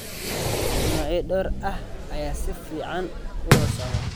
Noocyo dhowr ah ayaa si fiican u wada socda.